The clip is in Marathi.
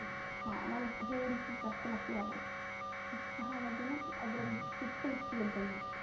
आह मला थोडीशी जास्त लागते अद्रक. चहा मध्ये ना अद्रक हम्म ची Taste आली पाहिजे.